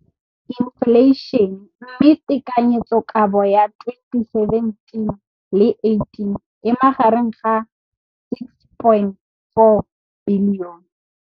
Infleišene, mme tekanyetsokabo ya 2017, 18, e magareng ga R6.4 bilione.